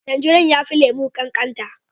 Tanjirine ya fi lemu kankata